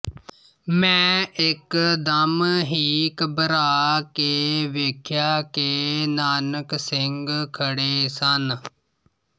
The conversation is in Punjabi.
ਮੈਂ ਇੱਕ ਦਮ ਹੀ ਘਬਰਾ ਕੇ ਵੇਖਿਆ ਕਿ ਨਾਨਕ ਸਿੰਘ ਖੜ੍ਹੇ ਸਨ